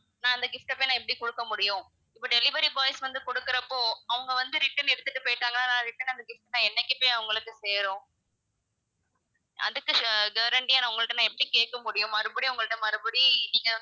நான் அந்த gift அ போய் நான் எப்படி குடுக்க முடியும், இப்போ delivery boys வந்து குடுக்குறப்போ அவங்க வந்து return எடுத்துட்டு போயிட்டாங்கன்னா, நான் return அந்த things என்னைக்கு அவங்களுக்கு போய் சேரும் அதுக்கு guarantee ஆ நான் உங்கள்ட்ட எப்படி கேக்க முடியும் மறுபடியும் உங்கள்ட்ட மறுபடி நீங்க